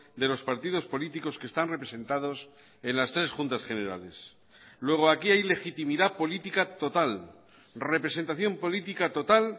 de los partidos políticos que están representados en las tres juntas generales luego aquí hay legitimidad política total representación política total